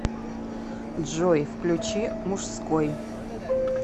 джой включи мужской